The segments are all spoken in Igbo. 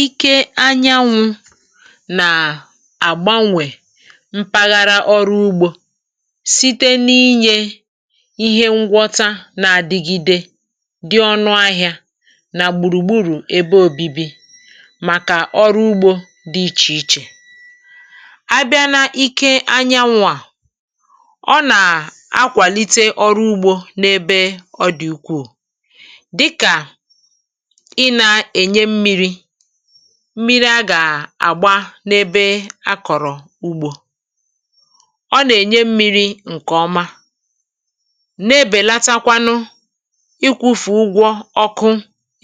Ìkè ànyànwụ̇ nà-àgbanwè mpaghara ọrụ́ ụ̀gbọ̀ site n’inyè ihe ngwọ̀ta nà-àdigide dị́ ọnụ̄ ahị̀á nà-gbùrùgburù ebe òbìbì. Màkà ọrụ́ ụ̀gbọ̀ dị́ iche-iche, abịa n’ìkè ànyànwụ̇ à, ọ̀ nà-akwàlite ọrụ́ ụ̀gbọ̀ n’ebe ọ dị̀ ùkwù mmi̇ri̇ a gà-àgba n’ebe a kọ̀rọ̀ ụ̀gbọ̀. Ọ̀ nà-ènye mmi̇ri̇ ǹkè ọma, na-ebèlatakwanū ịkwụ̇fè ụ̀gbọ̀ ọ̀kụ̀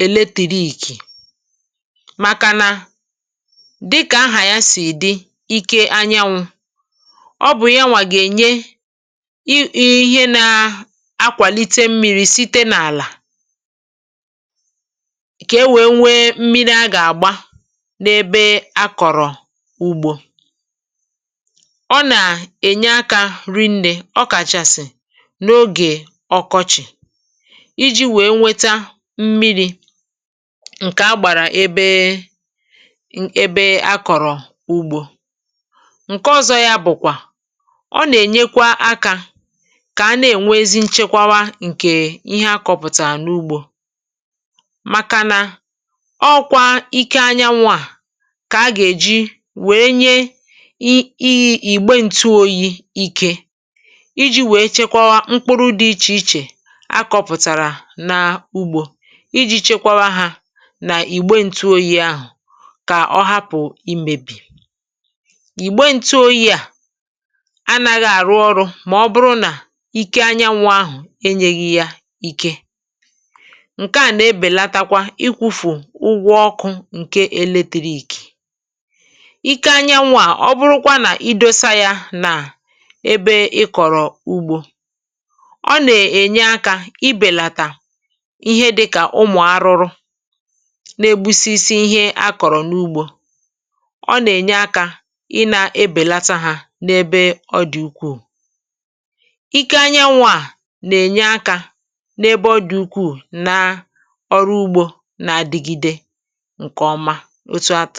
èlètìk̇. Màkànà, dị́kà ahà yá sì dị̇, ìkè ànyànwụ̇ bụ̀ yanwà gà-ènye ihe um na-akwàlite mmi̇ri̇ site n’àlà n’ebe akọ̀rọ̀ ụ̀gbọ̀. Ọ̀ nà-ènye akà rìnné, ọ kàchàsị̀ n’ogè ọkọchị̀, iji̇ wèe weta mmi̇ri̇ ǹkè a gbàrà ebe akọ̀rọ̀ ụ̀gbọ̀. Ǹkè ọ̀zọ̀ yá bụ̀kwà na ọ̀ nà-ènyekwa akà ehm kà a nà-ènwezi nchekwàwa ǹkè ihe akọ̇pụ̀tà n’ugbò. Ọọ̇kwà ìkè ànyànwụ̇ à kà a gà-èjì wèe nye íyi ìgbè ǹtụ̀ọ́yì̇, iji̇ wèe chekwa mkpụrụ dị iche-iche akọ̇pụ̀tàrà n’ugbò, iji̇ chekwa hā nà-ìgbè ǹtụ̀ọ́yì̇ ahụ̀, kà ọ hapụ̀ imébi. Ìgbè ǹtụ̀ọ́yì̇ à anaghị àrụ́ ọrụ̇ mà ọ̀ bụrụ̀ nà ìkè ànyànwụ̇ ahụ̀ enyèghị̇ yá ìkè ǹkè èlètìrì. Ìkè ànyànwụ̇ à, ọ̀ bụrụ̀kwà nà idòsa yá nà ebe ị kọ̀rọ̀ ụ̀gbọ̀, ọ̀ nà-ènye akà ibèlàtà ihe dị́kà ụmụ̀ arụrụ na-egbusisi ihe a kọ̀rọ̀ n’ugbò. hmm Ọ̀ nà-ènye akà ị nà-ebèlata hā n’ebe ọ dị̀ ùkwù. Ìkè ànyànwụ̇ à nà-ènye akà n’ebe ọ dị̀ ùkwù n’ọrụ́ ụ̀gbọ̀, otu a tụ̀rụ̀.